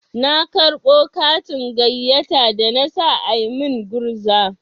Na karɓo katin gayyata da na sa a min gurza.